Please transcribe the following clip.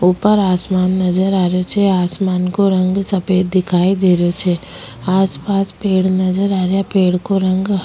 ऊपर आसमान नजर आ रेहा छे आसमान को रंग सफ़ेद दिखाई दे रेहो छे आसपास पेड़ नजर आ रेहा पेड़ को रंग --